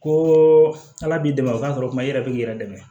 Ko ala b'i dɛmɛ o ka kɔrɔtɛ i yɛrɛ bɛ k'i yɛrɛ dɛmɛ